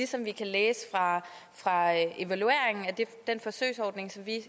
som vi kan læse fra evalueringen af den forsøgsordning som vi